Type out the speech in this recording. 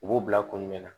U b'u bila kun jumɛn na